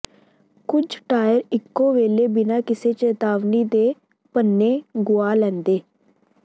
ਕੁਝ ਟਾਇਰ ਇਕੋ ਵੇਲੇ ਬਿਨਾਂ ਕਿਸੇ ਚੇਤਾਵਨੀ ਦੇ ਪੰਨੇ ਗੁਆ ਲੈਂਦੇ